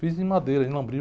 Fiz em madeira, em lambril.